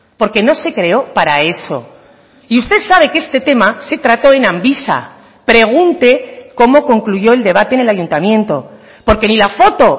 porque no se creó para eso y usted sabe que este tema se trató en amvisa pregunte cómo concluyó el debate en el ayuntamiento porque ni la foto